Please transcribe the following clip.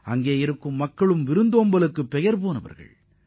அந்த மாநில மக்கள் அனைவரும் மிகவும் பாசமானவர்கள்